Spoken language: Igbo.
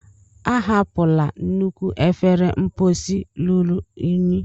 Ahapụla nnukwu efere mposi ruru unyi!